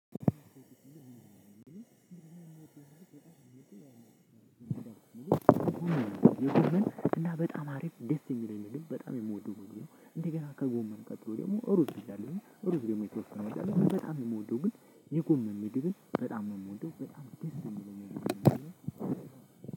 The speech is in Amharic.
የጎመን ጥፍጥና እና በጣም አሪፍ ደስ የሚለኝ ነገር በጣም የምወደው። እንደገና ከጎመን ቀጥሎ ደግሞ እሩዝ ብያለሁኝ እሩዝ ደግሞ የተወሰነ እወዳለሁ በጣም የምወደው። ግን የጎመን ምግብን ግን በጣም የምወደው በጣም ደስ የሚለኝ ነገር ነው።